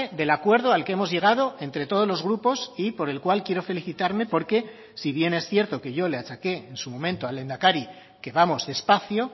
del acuerdo al que hemos llegado entre todos los grupos y por el cual quiero felicitarme porque si bien es cierto que yo le achaqué en su momento al lehendakari que vamos despacio